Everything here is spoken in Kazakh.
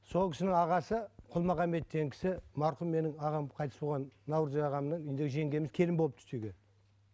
сол кісінің ағасы құлмағанбет деген кісі марқұм менің ағам қайтыс болған наурызбек ағамның үйінде жеңгеміз келін болып түсті үйге